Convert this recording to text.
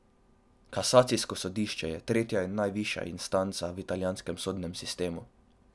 Kasacijsko sodišče je tretja in najvišja instanca v italijanskem sodnem sistemu.